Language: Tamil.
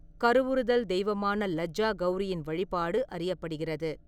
கருவுறுதல் தெய்வமான லஜ்ஜா கௌரியின் வழிபாடு அறியப்படுகிறது.